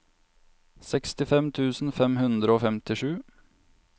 sekstifem tusen fem hundre og femtisju